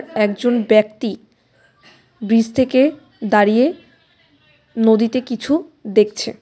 একজন ব্যক্তি ব্রিজ থেকে দাঁড়িয়ে নদীতে কিছু দেখছে.